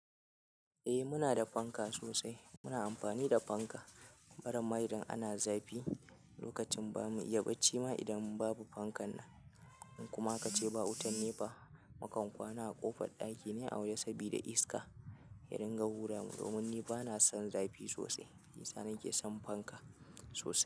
Eh muna da fanka sosai. Ina amfani da fanka. Idan irin ana zafi lokacin ba mu iya bacci ma idan babu fankan nan. In kuma a ka ce ba wutan nepa, mukan kwana a ƙofar ɗaki ne a wa je saboda iska. Ya rin ga wura mu domin ni bana son zafi sosai. Shi ya sa nake son fanka sosai.